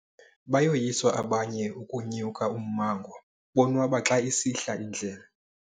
Bayoyiswa abanye ukunyuka ummango bonwaba xa isihla indlela.